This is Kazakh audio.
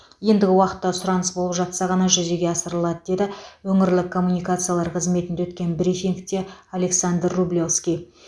ендігі уақытта сұраныс болып жатса ғана жүзеге асырылады деді өңірлік коммуникациялар қызметінде өткен брифингте александр рублевский